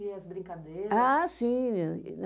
E as brincadeiras? Ah sim menina